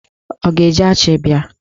Ọ ga-eji achi bịa?